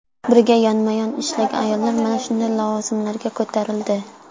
Birga yonma-yon ishlagan ayollar mana shunday lavozimlarga ko‘tarildi.